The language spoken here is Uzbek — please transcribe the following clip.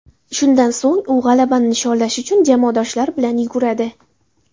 Shundan so‘ng u g‘alabani nishonlash uchun jamoadoshlari bilan yuguradi.